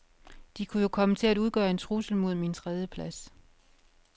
De kunne jo komme til at udgøre en trussel mod min tredieplads.